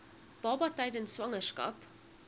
baba tydens swangerskap